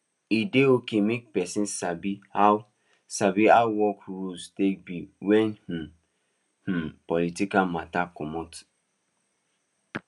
e dey okay make person sabi how sabi how work rules take be when im um political matter comot